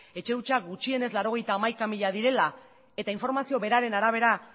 etxe hutsak gutxienez laurogeita hamaika mila direla eta informazio beraren arabera